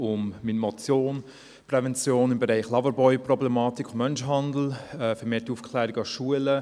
In meiner Motion geht es um Prävention im Bereich Loverboy-Problematik und Menschenhandel beziehungsweise um vermehrte Aufklärung an Schulen.